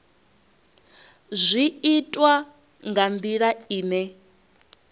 zwi itwa nga ndila ine